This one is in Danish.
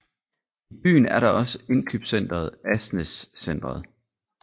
I byen er der også indkøbscentret Asnæs Centret